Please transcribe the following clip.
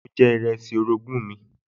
Mo jẹ ìrẹsì orogún mi